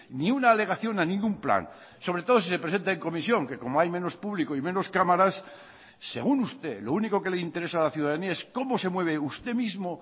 ni una alegación a ningún plan sobre todo si se presenta en comisión que como hay menos público y menos cámaras según usted lo único que le interesa a la ciudadanía es cómo se mueve usted mismo